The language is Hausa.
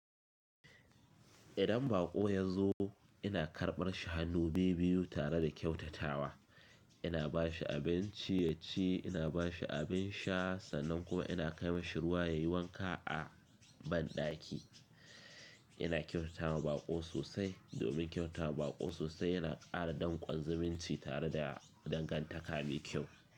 Idan baƙo ya zo, ina karɓar shi hannu biyu biyu tare da kyautatawa, ina ba shi abinci yaci, ina bashi abin sha, sannan kuma ina kai ma shi ruwa yayi wanka a banɗaki. Ina kyautata wa baƙo sosai domin kyautata wa baƙo sosai yana ƙara danƙon zumunci tare da dangantaka mai kyau.